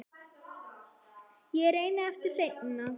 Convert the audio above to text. Ég reyni aftur seinna